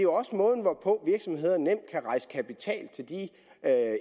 er rejse kapital til de